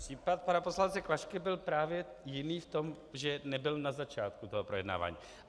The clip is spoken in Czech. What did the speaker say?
Případ pana poslance Klašky byl právě jiný v tom, že nebyl na začátku toho projednávání.